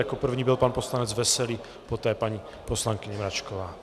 Jako první byl pan poslanec Veselý, poté paní poslankyně Mračková.